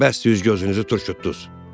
Bəsdir gözünüzü turşutdunuz!